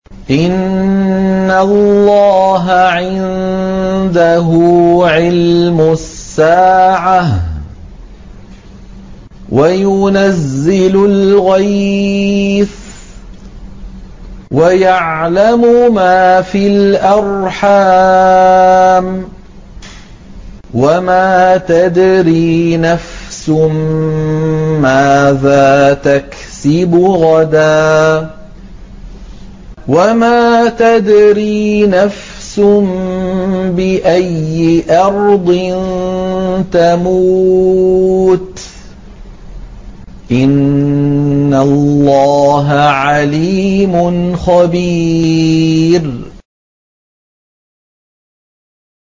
إِنَّ اللَّهَ عِندَهُ عِلْمُ السَّاعَةِ وَيُنَزِّلُ الْغَيْثَ وَيَعْلَمُ مَا فِي الْأَرْحَامِ ۖ وَمَا تَدْرِي نَفْسٌ مَّاذَا تَكْسِبُ غَدًا ۖ وَمَا تَدْرِي نَفْسٌ بِأَيِّ أَرْضٍ تَمُوتُ ۚ إِنَّ اللَّهَ عَلِيمٌ خَبِيرٌ